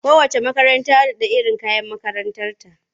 Kowacce makaranta da iron kayan makarantarta.